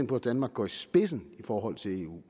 på at danmark går i spidsen i forhold til eu